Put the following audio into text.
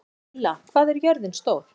Reyla, hvað er jörðin stór?